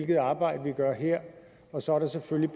det arbejde vi gør her og så er der selvfølgelig